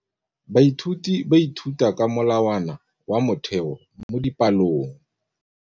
Baithuti ba ithuta ka molawana wa motheo mo dipalong.